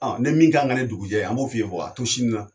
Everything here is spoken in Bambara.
Ni min kan ka kɛ ne dugujɛ an b'o f'i ye a to sini na.